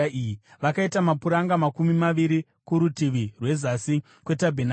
Vakaita mapuranga makumi maviri kurutivi rwezasi kwetabhenakeri